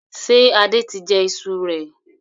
Ṣé Adé tí jẹ ìṣù rẹ?